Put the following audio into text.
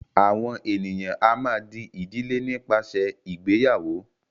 àwọn ènìyàn a má a dí ìdílé nípasẹ ìgbéyàwó.